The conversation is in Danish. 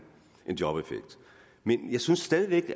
jobeffekt men jeg synes stadig væk